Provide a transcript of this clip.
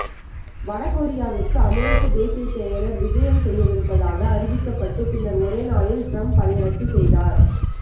வட கொரியாவிற்கு அமெரிக்க தேசியச் செயலர் விஜயம் செய்யவிருப்பதாக அறிவிக்கப்பட்டு பின்னர் ஒரே நாளில் ட்ரம்ப் அதை ரத்து செய்தார்